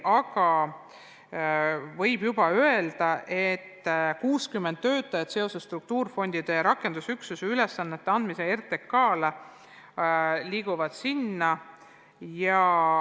Aga võib juba öelda, et 60 töötajat liigub seoses struktuurifondide ja rakendusüksuse ülesannete andmisega RTK-le sinna.